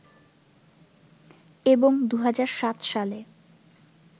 এবং ২০০৭ সালে